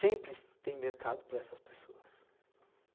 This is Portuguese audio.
Sempre tem mercado para essas pessoas.